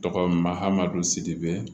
Tɔgɔma hamdu sidibe